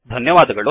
ಧನ್ಯವಾದಗಳು